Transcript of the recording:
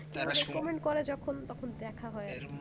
যখন তখন দেখা হয়